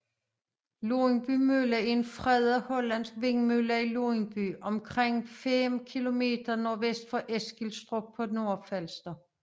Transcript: Lundby Mølle er en fredet hollandsk vindmølle i Lundby omkring 5 km nordvest for Eskilstrup på Nordfalster